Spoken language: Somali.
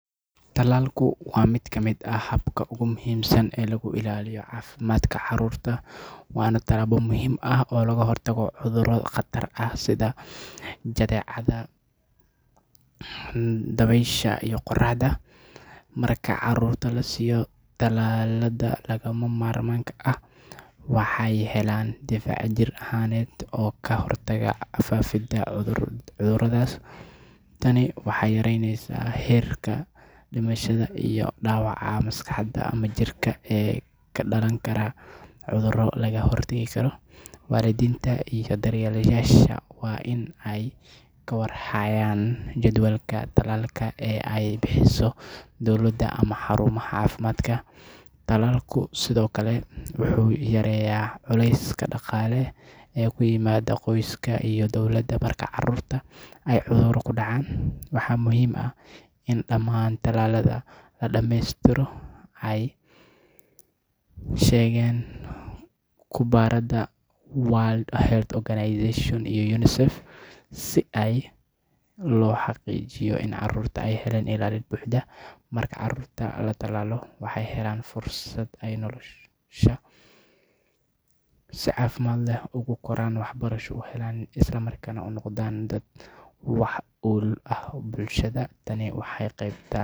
Tallaalku waa mid ka mid ah hababka ugu muhiimsan ee lagu ilaaliyo caafimaadka carruurta waana tallaabo muhiim ah oo looga hortago cudurro khatar ah sida jadeecada, dabaysha iyo qaaxada. Marka carruurta la siiyo tallaalada lagama maarmaanka ah, waxay helayaan difaac jir ahaaneed oo ka hortagaya faafidda cudurradaas. Tani waxay yareynaysaa heerka dhimashada iyo dhaawaca maskaxda ama jirka ee ka dhalan kara cudurro laga hortegi karo. Waalidiinta iyo daryeelayaasha waa in ay ka war hayaan jadwalka tallaalka ee ay bixiso dowladda ama xarumaha caafimaadka. Tallaalku sidoo kale wuxuu yareeyaa culayska dhaqaale ee ku yimaada qoysaska iyo dowladda marka carruurta ay cudurro ku dhacaan. Waxaa muhiim ah in dhammaan tallaalada la dhameystiro sida ay sheegeen khubarada World Health Organization iyo UNICEF si loo xaqiijiyo in carruurtu ay helaan ilaalin buuxda. Marka carruurta la tallaalo, waxay helayaan fursad ay noloshooda si caafimaad leh ugu koraan, waxbarasho u helaan, isla markaana u noqdaan dad wax ku ool ah bulshada. Tani waxay.